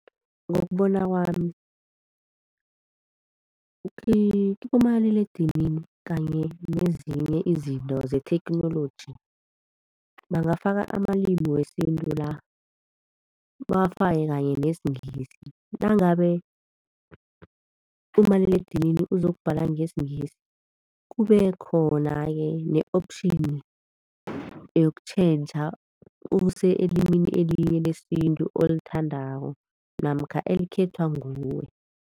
Ngokubona kwami kibomaliledinini kanye nezinye izinto zetheknoloji, bangafaka amalimu wesintu la, bawafake kanye nesiNgisi nangabe umaliledinini uzokubhala ngesiNgisi kube khona-ke ne-option yokutjhentjha use elimini elinye lesintu olithandako namkha elikhethwa nguwe.